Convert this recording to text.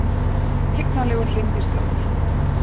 Tignarlegur hreindýrstarfur